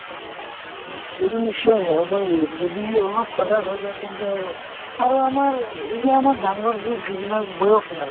সেইটো নিশ্চয় হবই যদি অলপ সজাগ হৈ যায় তেন্তে হʼব। আৰু আমাৰ এই যে আমাৰ ডাঙ্গৰ যে যিবিলাক বয়সিয়াল